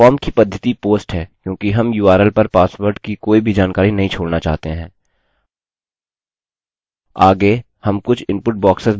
form की पद्धति post है क्योंकि हम url पर पासवर्ड की कोई भी जानकारी नहीं छोड़ना चाहते हैं